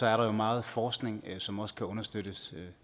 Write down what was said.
er der jo meget forskning som også kan understøttes